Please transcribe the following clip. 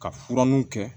Ka fura ninnu kɛ